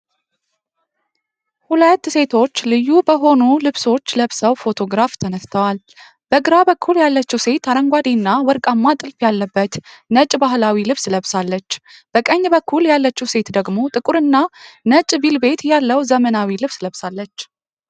ሁለት ሴቶች ልዩ በሆኑ ልብሶች ለብሰው ፎቶግራፍ ተነስተዋል። በግራ በኩል ያለችው ሴት አረንጓዴና ወርቃማ ጥልፍ ያለበት ነጭ ባህላዊ ልብስ ለብሳለች። በቀኝ በኩል ያለችው ሴት ደግሞ ጥቁርና ነጭ ቬልቬት ያለው ዘመናዊ ልብስ ለብሳለች።